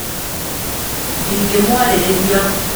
Ndĩngĩmwarĩrĩria